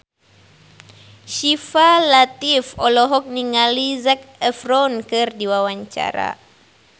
Syifa Latief olohok ningali Zac Efron keur diwawancara